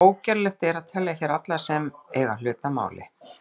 Ógerlegt er að telja hér alla sem þar eiga hlut að máli.